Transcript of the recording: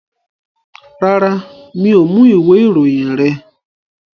Rárá, mi ò mú ìwé ìròyìn rẹ.